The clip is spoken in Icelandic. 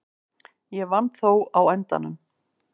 Ég vann þó á endanum.